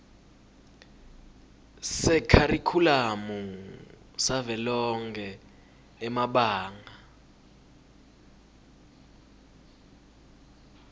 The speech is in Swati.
sekharikhulamu savelonkhe emabanga